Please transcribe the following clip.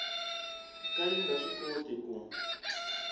ka yi nga swikoti ku